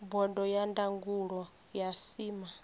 bodo ya ndangulo ya cma